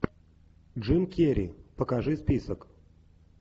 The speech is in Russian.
джим керри покажи список